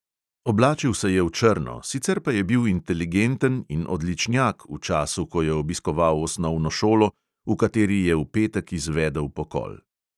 Oblačil se je v črno, sicer pa je bil inteligenten in odličnjak v času, ko je obiskoval osnovno šolo, v kateri je v petek izvedel pokol.